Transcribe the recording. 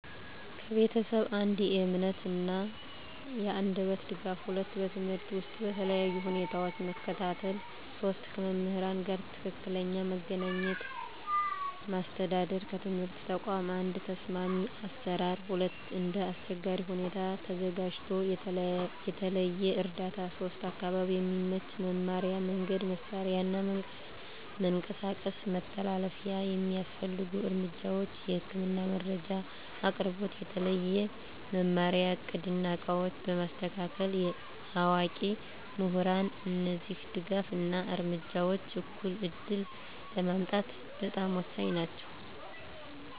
ከቤተሰብ፦ 1. የእምነት እና የአንደበት ድጋፍ 2. በትምህርት ውስጥ በተለያዩ ሁኔታዎች መከታተል 3. ከመምህራን ጋር ትክክለኛ መገናኘት ማስተዳደር ከትምህርት ተቋም፦ 1. ተስማሚ አሰራር 2. እንደ አስቸጋሪ ሁኔታ ተዘጋጅቶ የተለየ እርዳታ 3. አካባቢ የሚመች መማሪያ መንገድ፣ መሳሪያ እና መንቀሳቀስ መተላለፊያ የሚያስፈልጉ እርምጃዎች፦ የህክምና መረጃ አቅርቦት፣ የተለየ መማሪያ እቅድ እና ዕቃዎች በማስተካከል፣ አዋቂ ምሁራን እነዚህ ድጋፍ እና እርምጃዎች እኩል ዕድል ለማምጣት በጣም ወሳኝ ናቸው።